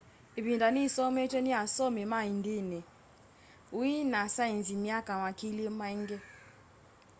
ivinda ni isometwe ni asomi ma ndini ui na saenzi myaka makili maingi